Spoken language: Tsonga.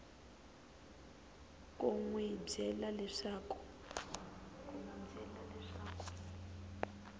ku n wi byela leswaku